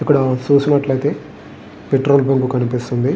ఇక్కడ చూసినట్లయితే petrol bunk కనిపిస్తుంది.